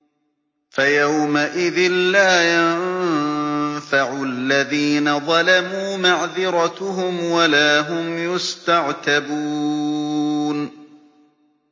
فَيَوْمَئِذٍ لَّا يَنفَعُ الَّذِينَ ظَلَمُوا مَعْذِرَتُهُمْ وَلَا هُمْ يُسْتَعْتَبُونَ